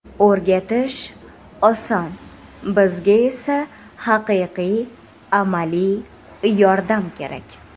O‘rgatish oson, bizga esa haqiqiy, amaliy yordam kerak.